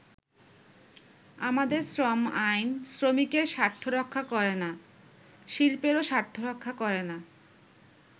“আমাদের শ্রম আইন শ্রমিকের স্বার্থ রক্ষা করেনা, শিল্পেরও স্বার্থ রক্ষা করেনা।